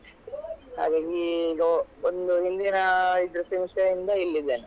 ಹಾಗಾಗಿ ಈಗ ಒಂದ್ ಒಂದು ಹಿಂದಿನಾ ಇದು semester ಇಂದ ಇಲ್ಲಿ ಇದ್ದೇನೆ.